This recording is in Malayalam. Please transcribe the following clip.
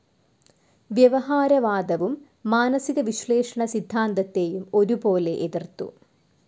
വ്യവഹാരവാദവും മാനസികവിശ്ലേഷണ സിദ്ധാന്തത്തേയും ഒരുപോലെ എതിർത്തു.